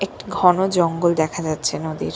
একটি ঘন জঙ্গল দেখা যাচ্ছে নদীর।